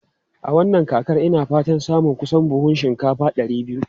A wannan kakar, ina fatan samun kusan buhunan shinkafa ɗari biyu.